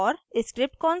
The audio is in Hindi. * स्क्रिप्ट कंसोल